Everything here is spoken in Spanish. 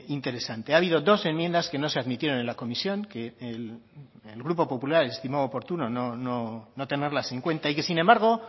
interesante ha habido dos enmiendas que no se admitieron en la comisión que el grupo popular estimó oportuno no tenerlas en cuenta y que sin embargo